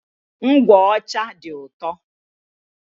Ngwụ ọcha dị ụtọ.